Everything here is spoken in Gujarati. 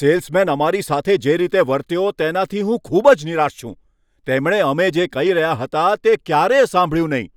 સેલ્સમેન અમારી સાથે જે રીતે વર્ત્યો તેનાથી હું ખૂબ જ નિરાશ છું, તેમણે અમે જે કહી રહ્યા હતા તે ક્યારેય સાંભળ્યું નહીં.